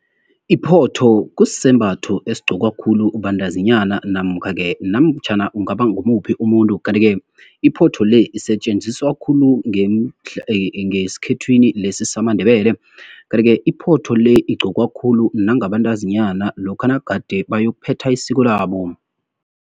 Iphotho kusisembatho esigqokwa khulu bantazinyana namkha-ke, namtjhana kungaba ngumuphi umuntu. Kanti-ke iphotho le, isetjenziswa khulu ngesikhethwini lesi samaNdebele. Kanti-ke iphotho le, igqokwa khulu nangabantazinyana lokha nagade bayokuphetha isiko labo.